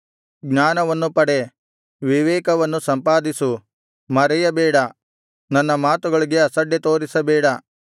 ಜ್ಞಾನವನ್ನು ಪಡೆ ವಿವೇಕವನ್ನು ಸಂಪಾದಿಸು ಮರೆಯಬೇಡ ನನ್ನ ಮಾತುಗಳಿಗೆ ಅಸಡ್ಡೆ ತೋರಿಸಬೇಡ